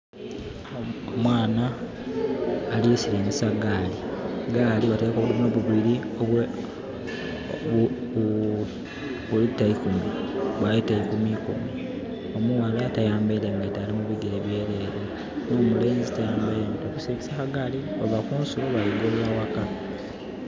Omwana alisiringisa gaali. Gaali bataireku obudomola bubiri obwa litta ikumi ikumi. Omuwala tayambaire ngaito ali bigere byerere, no mulenzi tayambaire. Bali siringisa gaali Baava kunsulo bali golola waka